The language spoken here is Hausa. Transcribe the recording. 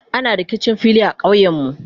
ana rikicin fili a ƙauyen. mu